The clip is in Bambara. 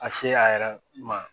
A se a yɛrɛ ma